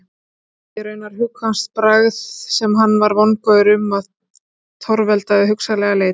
Honum hafði raunar hugkvæmst bragð sem hann var vongóður um að torveldaði hugsanlega leit.